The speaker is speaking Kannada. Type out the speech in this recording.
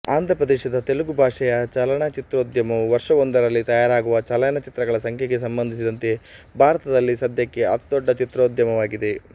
ಆಂಧ್ರಪ್ರದೇಶದ ತೆಲುಗು ಭಾಷೆಯ ಚಲನಚಿತ್ರೋದ್ಯಮವು ವರ್ಷವೊಂದರಲ್ಲಿ ತಯಾರಾಗುವ ಚಲನಚಿತ್ರಗಳ ಸಂಖ್ಯೆಗೆ ಸಂಬಂಧಿಸಿದಂತೆ ಭಾರತದಲ್ಲಿ ಸದ್ಯಕ್ಕೆ ಅತಿದೊಡ್ಡ ಚಿತ್ರೋದ್ಯಮವಾಗಿದೆ